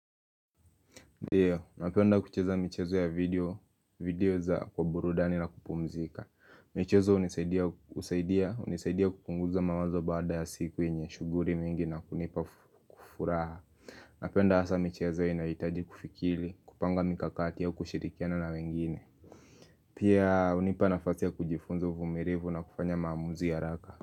Ndiyo, napenda kucheza michezo ya video, video za kwa burudani na kupumzika michezo hunisaidia kupunguza mawazo baada ya siku yenye, shughuli mingi na kunipa kufuraha Napenda hasa michezo inahitaji kufikiri, kupanga mikakati ya kushirikiana na wengine Pia hunipa nafasi ya kujifunza uvumilivu na kufanya maamuzi ya haraka.